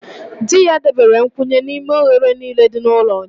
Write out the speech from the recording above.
Di ya debere nkwụnye n'ime oghere niile dị n'ụlọ ụnyaahụ